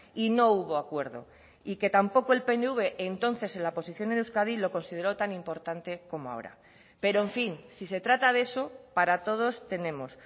y no hubo acuerdo y que tampoco el pnv entonces en la posición en euskadi lo consideró tan importante como ahora pero en fin si se trata de eso para todos tenemos